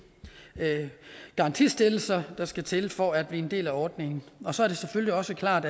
garantistillelser der skal til for at blive en del af ordningen så er det selvfølgelig også klart